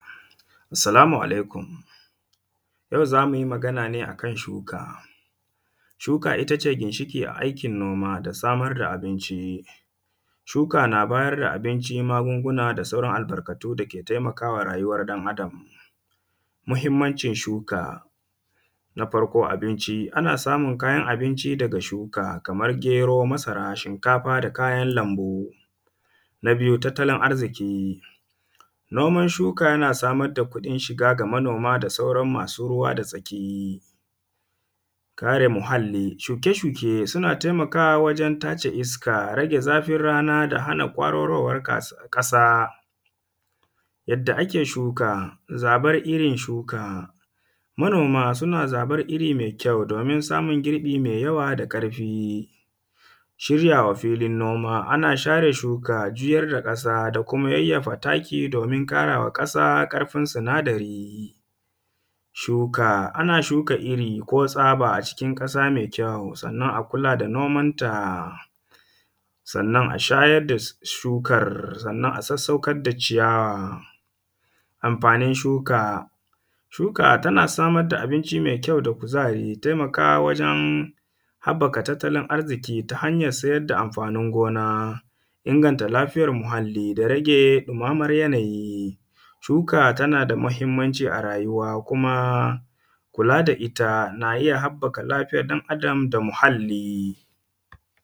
Salamu alaikum. yau zamuyi maganane akan shuka. Shuka itace ginshiki a aikin noma. Da samar da abinci. Shuka na ba yar da abinci magunguna. Da sauran albarkatu dake taimakawa rayuwar ɗan adam. Muhimmancin shuka. Na farko, abinci. Ana samun kayan abinci daga shuka. Kamar gero, masara, shinkafa da kayan lambu. Na biyu, tattalin arziki. Noman shuka yana samar da kudin shiga, ga manoma da sauran masu ruwa da tsaki. Kare muhall. Shuke shuke suna taimakawa wajen tace iska. Rage zafin rana da hana kwararowar kasa. Yadda ake shuka, zabar irin shuka. Manoma suna zabar iri mai kyau. Domin samu girbi mai yawa da ƙarfi. Shiryawa filin noma. Ana share shuka juyar da ƙasa dakuma yayyafa taki. Domin ƙarawa ƙasa ƙarfin sunadari. Shuka, ana shuka iri, ko tsaba a cikin ƙasa mai kyau. Sennan akula da noman ta. Sennan a shayar da shukar, sennan a sassaukar da ciyawa. Amfanin shuka. Shuka tana samar da abinci mai kjau da kuzari. Taimakawa wajen haɓaka tattalin arziki, ta hanyar sayar da amfanin gona. Inganta lafiyar muhalli, da rage dumamar yanayi. Shuka tanada muhimmanci a rayuwa, kuma kula da ita, na iya haɓaka lafiyar ɗan adam da muhalli.